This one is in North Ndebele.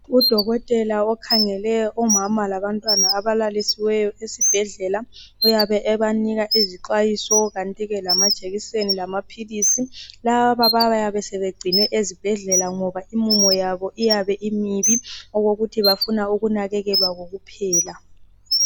Udokotela okhangele omama labantwana abalalisiweyo esibhedlela uyabe ebanika izixwayiso kantike lamajekiseni lamaphilisi laba bayabe sebegcinwe ezibhedlela ngoba imumo yabo imibi okokuthi bafuna ukunakekelwa kokuphela